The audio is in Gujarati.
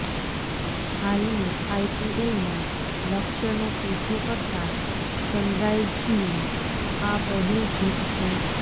હાલની આઇપીએલમાં લક્ષ્યનો પીછો કરતા સનરાઇઝ્સની આ પહેલી જીત છે